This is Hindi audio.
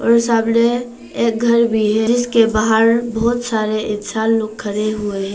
सामने एक घर भी है जिसके बाहर बहोत सारे इंसान लोग खड़े हुए हैं।